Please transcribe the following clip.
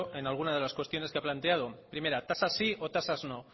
en algunas de las cuestiones que ha planteado primera tasas sí o tasas no